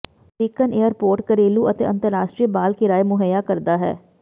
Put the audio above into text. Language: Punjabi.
ਅਮਰੀਕਨ ਏਅਰਪੋਰਟ ਘਰੇਲੂ ਅਤੇ ਅੰਤਰਰਾਸ਼ਟਰੀ ਬਾਲ ਕਿਰਾਏ ਮੁਹੱਈਆ ਕਰਦਾ ਹੈ